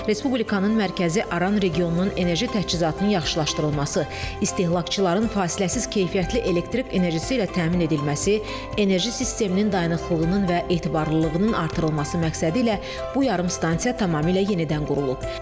Respublikanın mərkəzi Aran regionunun enerji təchizatının yaxşılaşdırılması, istehlakçıların fasiləsiz keyfiyyətli elektrik enerjisi ilə təmin edilməsi, enerji sisteminin dayanıqlığının və etibarlılığının artırılması məqsədilə bu yarımstansiya tamamilə yenidən qurulub.